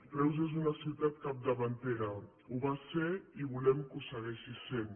reus és una ciutat capdavantera ho va ser i volem que ho segueixi sent